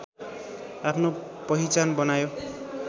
आफ्नो पहिचान बनायो